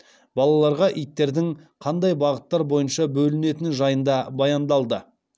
балаларға иттердің қандай бағыттар бойынша бөлінетіні жайында баяндалды